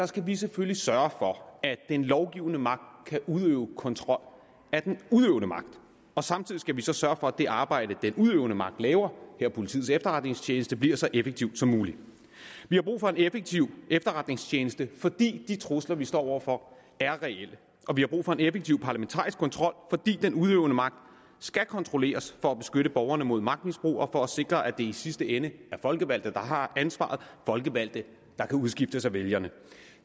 skal vi selvfølgelig sørge for at den lovgivende magt kan udøve kontrol af den udøvende magt og samtidig skal vi så sørge for at det arbejde den udøvende magt laver her politiets efterretningstjeneste bliver så effektiv som muligt vi har brug for en effektiv efterretningstjeneste fordi de trusler vi står over for er reelle og vi har brug for en effektiv parlamentarisk kontrol fordi den udøvende magt skal kontrolleres for at beskytte borgerne mod magtmisbrug og for at sikre at det i sidste ende er folkevalgte der har ansvaret folkevalgte der kan udskiftes af vælgerne